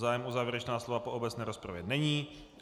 Zájem o závěrečná slova po obecné rozpravě není.